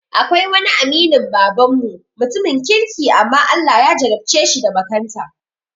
Akwai wani aminin baban mu, mutumin kirki amma Allah ya jarabceshi da makanta